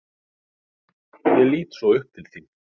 Ég lít svo upp til þín.